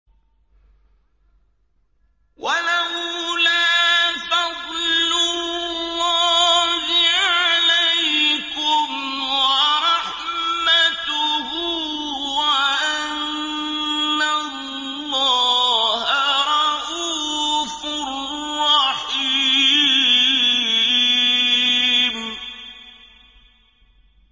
وَلَوْلَا فَضْلُ اللَّهِ عَلَيْكُمْ وَرَحْمَتُهُ وَأَنَّ اللَّهَ رَءُوفٌ رَّحِيمٌ